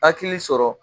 Hakili sɔrɔ